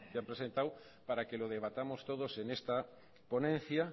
han presentado para que lo debatamos todos en esta ponencia